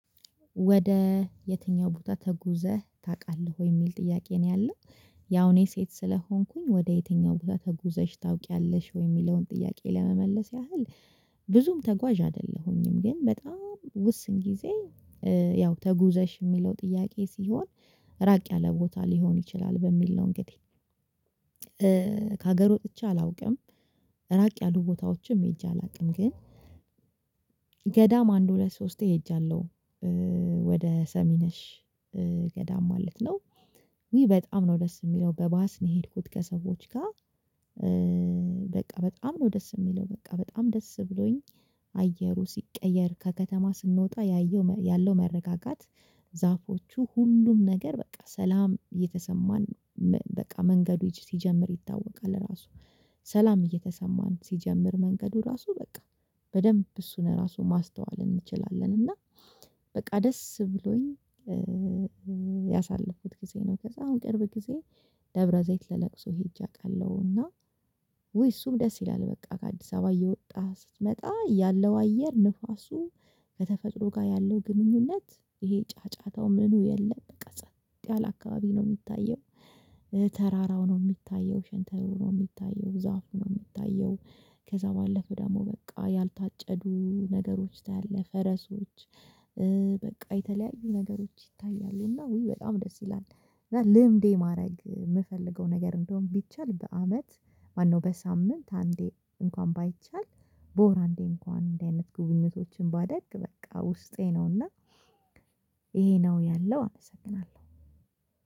ወደ የትኛው ቦታ ተጉዘህ ታቃለህ ወይ? የሚል ጥያቄ ነው ያለው። ያው እኔ ሴት ስለሆንኩኝ ወደ የትኛው ቦታ ተጉዘሽ ታውቂያለሽ ወይ? የሚለውን ጥያቄ ለመመለስ ያህል ብዙም ተጓዥ አይደለሁኝም ግን በጣም ውስን ጊዜ ያው ተጉዘሽ የሚለው ጥያቄ ሲሆን ራቅ ያለ ቦታ ሊሆን ይችላል በሚል ነው እንግዲህ ከሀገር ወጥቼ አላውቅም ራቅ ያሉ ቦታዎችም ሄጄ አላውቅም ግን ገዳም አንድ ሁለት ሶስቴ ሄጄያለሁ ወደ ሰሚነሽ ገዳም ማለት ነው ውይ በጣም ነው ደስ የሚለው በባስ ነው የሄድኩት ከሰዎች ጋር በቃ በጣም ነው ደስ የሚለው በቃ በጣም ደስ ብሎኝ አየሩ ሲቀየር ከከተማ ስንወጣ ያየው ያለው መረጋጋት ዛፎቹ ሁሉም ነገር በቃ ሰላም እየተሰማን በቃ መንገዶች ሲጀምር ይታወቃል ራሱ ሰላም እየተሰማን ሲጀምር መንገዱ ራሱ በቃ በደንብ እሱን ራሱ ማስተዋል እንችላለን እና በቃ ደስ ብሎኝ ያሳለፍኩት ጊዜ ነው በጣም ቅርብ ጊዜ ደብረ ዘይት ለለቅሶ ሄጄ አውቃለሁ አውቃለሁና ውይ እሱም ደስ ይላል በቃ ከአዲስ አበባ እየወጣህ ስትመጣ ያለው አየር ንፋሱ ከተፈጥሮ ጋር ያለው ግንኙነት ይሄ ጫጫታው ምኑ የለም በቃ ጸጥ ያለ አካባቢ ነው የሚታየው ተራራው ነው የሚታየው ሸንተሩ ነው የሚታየው ዛፉ ነው የሚታየው ከዛ ባለፈ ደግሞ በቃ ያልታጨዱ ነገሮች ታያለህ ፈረሶች በቃ የተለያዩ ነገሮች ይታያሉና ውይ በጣም ደስ ይላል እና ልምዴ ማድረግ የምፈልገው ነገር እንዲሆን ቢቻል በአመት ማነው በሳምንት አንዴ እንኳን ባይቻል በወር አንዴ እንኳን እንደዚህ አይነት ጉብኝቶችን ባደርግ በቃ ውስጤ ነውና ይሄ ነው ያለው አመሰግናለሁ።